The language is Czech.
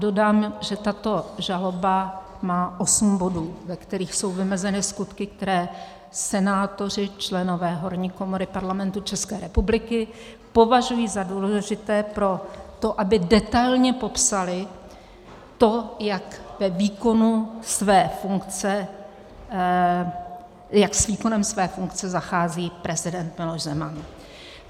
Dodám, že tato žaloba má osm bodů, ve kterých jsou vymezeny skutky, které senátoři, členové horní komory Parlamentu České republiky, považují za důležité pro to, aby detailně popsali to, jak s výkonem své funkce zachází prezident Miloš Zeman.